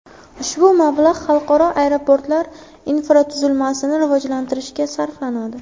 Ushbu mablag‘ xalqaro aeroportlar infratuzilmasini rivojlantirishga sarflanadi.